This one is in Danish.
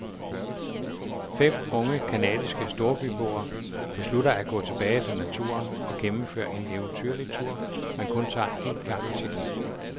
Fem unge canadiske storbyboer beslutter at gå tilbage til naturen og gennemføre en eventyrlig tur, man kun tager én gang i sit liv.